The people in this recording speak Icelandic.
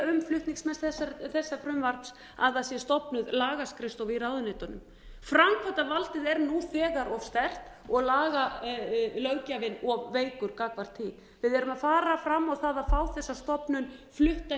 erum ekki að biðja um flutningsmenn þessa frumvarps að það sé stofnuð lagaskrifstofa í ráðuneytunum framkvæmdarvaldið er nú þegar of sterkt og löggjafinn of veikur gagnvart því við erum að fara fram á það að fá þessa stofnun flutta